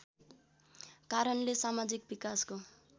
कारणले समाजिक विकासको